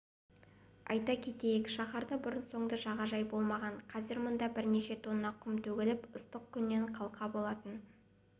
айта кетейік шаһарда бұрын-соңды жағажай болмаған қазір мұнда бірнеше тонна құм төгіліп ыстық күннен қалқа болатын